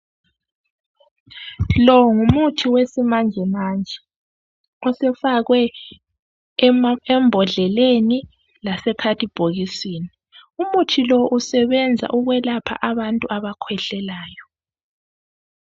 Lowu ngumuthi wesimanjemanje osufakwe embodleleni lasekhadibhokisini. Umuthi lowu usebenza ukwelapha abakhwehlelayo.